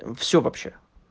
все вообще